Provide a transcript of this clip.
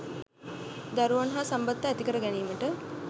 දරුවන් හා සම්බන්ධතා ඇතිකර ගැනීමට